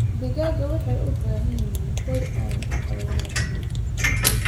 Digaagga waxay u baahan yihiin hoy aan xayawaan lahayn.